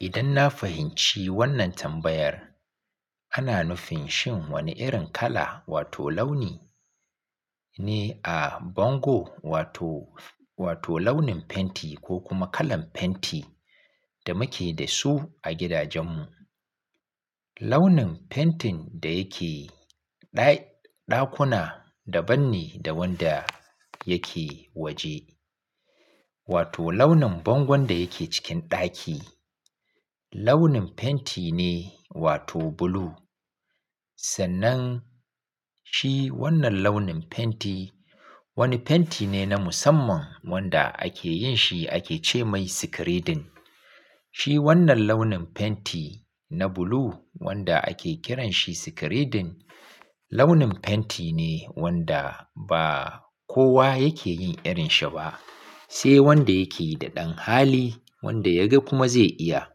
Idan na fahimci wannan tambayar, ana nufin shin wane irin kala wato launi ne a bango wato, wato launin fenti ko kuma kalan fenti da muke da su a gidajen mu. Launin fentin da yake ɗai- ɗakuna daban ne da wanda yake waje. Wato launin bangon da yake cikin ɗaki, launin fenti ne wato blue. Sannan shi wannan launin fenti, wani fenti ne na musamman wanda ake yin shi ake ce mai sikiredin. Shi wannan launin fenti na blue wanda ake kiran shi sikiridin, launin fenti ne wanda ba kowa yake yin irin shi ba, sai wanda yake da ɗan hali wanda ya ga kuma zai iya.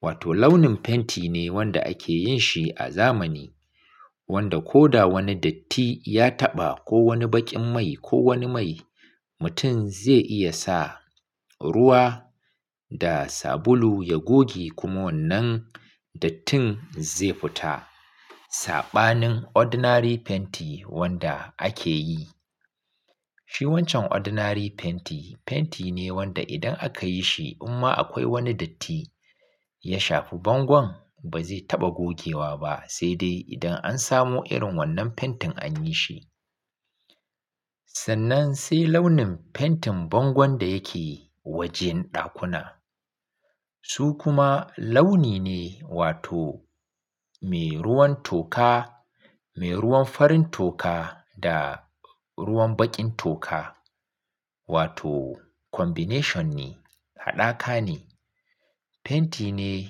Wato launin fenti ne wanda ake yin shi a zamani, wanda ko da wani datti ya taɓa ko wani baƙin mai ko wani mai, mutum zai iya sa ruwa da sabulu ya goge kuma wannan dattin zai fita. Saɓanin ordinary fenti wanda ake yi. Shi wancan ordinary fenti, fenti ne wanda idan aka yi shi amma akwai wani datti ya shafi bangon, ba zai taɓa gogewa ba sai dai idan an samu irin wannan fentin an yi shi. Sannan sai launin fentin bangon da yake wajen ɗakuna. Su kuma launi ne wato mai ruwan toka, mai ruwan farin toka da ruwan baƙin toka. Wato combination ne, hadaka ne. Fenti ne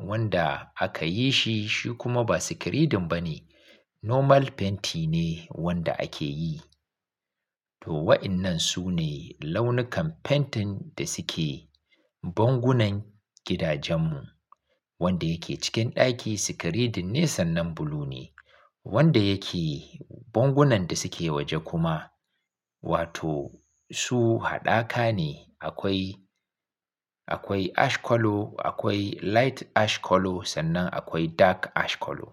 wanda aka yi shi shi kuma ba sikiredin ba ne. Normal fenti ne wanda ake yi. To wa'innan su ne launukan fentin da suke bangunan gidajen mu. Wanda yake cikin ɗaki sikiridin ne sannan blue ne. Wanda yake bangunan da suke waje kuma wato su hadaka ne. Akwai, akwai ash color, akwai light ash color sannan akwai dark ash color.